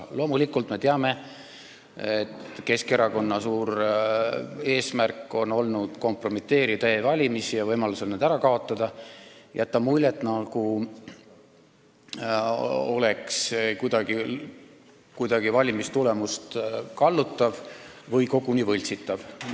Me loomulikult teame, et Keskerakonna suur eesmärk on olnud kompromiteerida e-valimist ja võimalusel see ära kaotada, jätta muljet, nagu see kuidagi valimistulemust kallutaks või oleks koguni võltsitav.